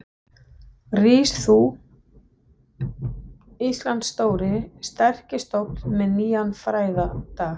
Rís þú, Íslands stóri, sterki stofn með nýjan frægðardag.